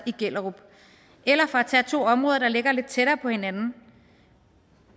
i gellerup eller for at tage to områder der ligger lidt tættere på hinanden